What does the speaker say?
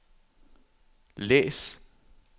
læs